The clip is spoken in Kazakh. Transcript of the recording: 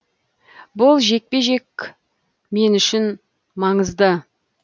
бұл жекпе жектің мен үшін маңызы үлкен